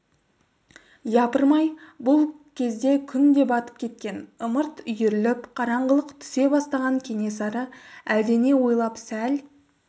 япырмай бұл кезде күн де батып кеткен ымырт үйіріліп қараңғылық түсе бастаған кенесары әлденені ойлап сәл